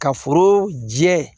Ka foro jɛ